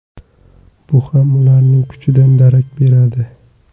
Bu ham ularning kuchidan darak beradi.